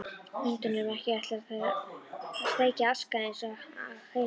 Hundunum ekki ætlað þar að sleikja askana eins og heima.